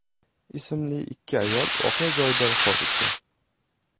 ismli ikki ayol voqea joyida vafot etgan.